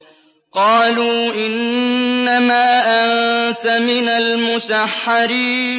قَالُوا إِنَّمَا أَنتَ مِنَ الْمُسَحَّرِينَ